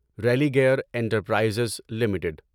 Religare enterprises limited